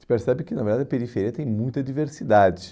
a gente percebe que, na verdade, a periferia tem muita diversidade.